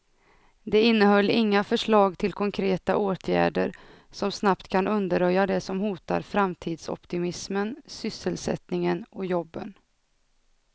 Det innehöll inga förslag till konkreta åtgärder som snabbt kan undanröja det som hotar framtidsoptimismen, sysselsättningen och jobben.